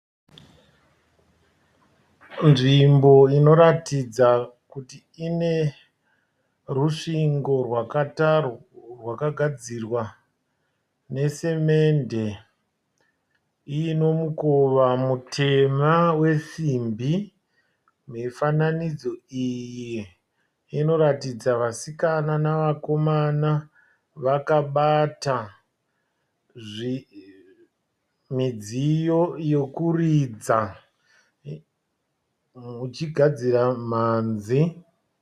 Nzvimbo inoratidza kuti inerusvingo rakagadzirwa nesamende inemukova mutema wesimbi mifananidzo iyii inoratidza vasikana nevakomana vakabata midziyo yekuridza vachigadzira mhanzi.